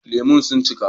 Lemu sun cika